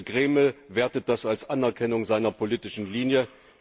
Der Kreml wertet das als Anerkennung seiner politischen Linie.